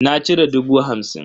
Na cire dubu hamsin.